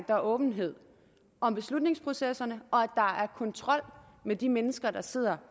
der er åbenhed om beslutningsprocesserne og at er kontrol med de mennesker der sidder